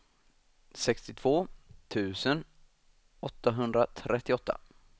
sextiotvå tusen åttahundratrettioåtta